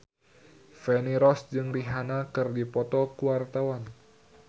Feni Rose jeung Rihanna keur dipoto ku wartawan